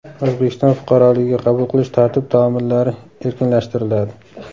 O‘zbekiston fuqaroligiga qabul qilish tartib-taomillari erkinlashtiriladi.